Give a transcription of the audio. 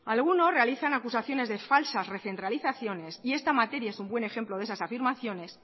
algunos realizan acusaciones defalsas recentralizaciones y esta materia es un buen ejemplo de esas afirmaciones